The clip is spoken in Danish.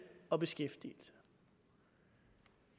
og beskæftigelse